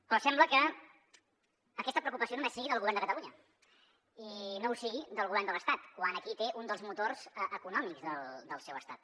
però sembla que aquesta preocupació només sigui del govern de catalunya i no ho sigui del govern de l’estat quan aquí té un dels motors econòmics del seu estat